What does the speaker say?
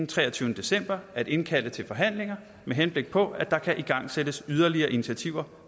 treogtyvende december at indkalde til forhandlinger med henblik på at der kan igangsættes yderligere initiativer